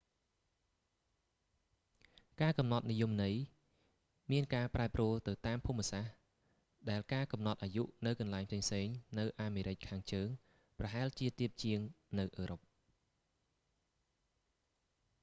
ការកំណត់និយមន័យមានការប្រែប្រួលទៅតាមភូមិសាស្ត្រ ដែលការកំណត់អាយុនៅកន្លែងផ្សេងៗនៅអាមេរិកខាងជើងប្រហែលជាទាបជាងនៅអឺរ៉ុប